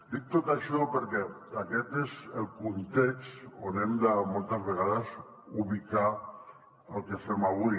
dic tot això perquè aquest és el context on hem de moltes vegades ubicar el que fem avui